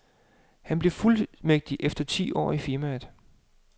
Han blev fuldmægtig efter ti år i firmaet.